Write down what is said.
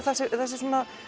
þessi